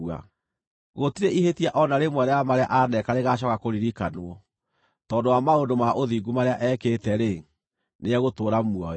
Gũtirĩ ihĩtia o na rĩmwe rĩa marĩa aaneka rĩgaacooka kũririkanwo. Tondũ wa maũndũ ma ũthingu marĩa ekĩte-rĩ, nĩegũtũũra muoyo.